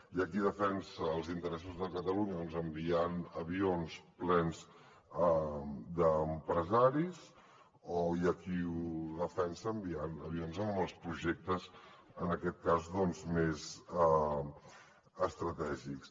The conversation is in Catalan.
hi ha qui defensa els interessos de catalunya enviant avions plens d’empresaris o hi ha qui ho defensa enviant avions amb els projectes en aquest cas més estratègics